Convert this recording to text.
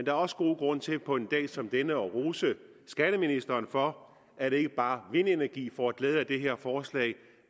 er også god grund til på en dag som denne at rose skatteministeren for at ikke bare vindenergien får glæde af det her forslag